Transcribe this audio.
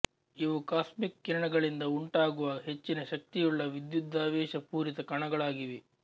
ಇವು ಕಾಸ್ಮಿಕ್ ಕಿರಣಗಳಿಂದ ಉಂಟಾಗುವ ಹೆಚ್ಚಿನ ಶಕ್ತಿಯುಳ್ಳ ವಿದ್ಯುದಾವೇಶ ಪೂರಿತ ಕಣಗಳಾಗಿವೆ